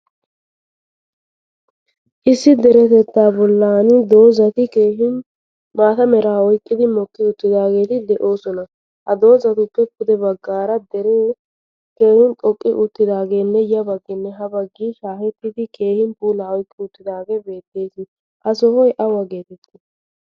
Issi deretetta bollani dozati keehin maata mera oyqqidi mokki uttidageti deosona. Ha dozatuppe pudde baggaara dere keehin xoqqi uttidagene ya baggine ha baggi shahettidi keehin puulaa oyqqi uttidage beetees. Ha sohoy ayba geeteti?